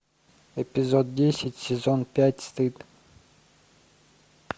эпизод десять сезон пять стыд